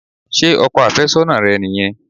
Ṣé ọkọ àfẹ́sọ́nà rẹ nìyẹn?